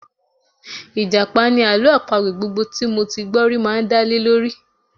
Ìjàpá ni àlọ́ àpagbè gbogbo tí mo ti gbọ́ rí máa ń dálé lórí